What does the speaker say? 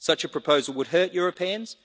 Such a proposal would hurt Europeans.